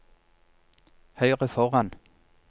høyre foran